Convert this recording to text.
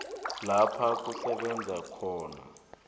lapha kusebenza khona